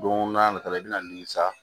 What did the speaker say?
Don n'a nata la i bɛna nimisa